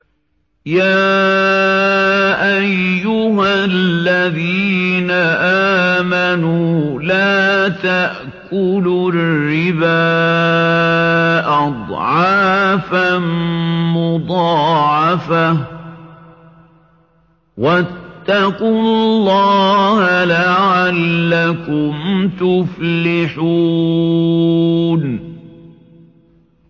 يَا أَيُّهَا الَّذِينَ آمَنُوا لَا تَأْكُلُوا الرِّبَا أَضْعَافًا مُّضَاعَفَةً ۖ وَاتَّقُوا اللَّهَ لَعَلَّكُمْ تُفْلِحُونَ